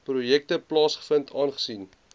projekte plaasvind aangesien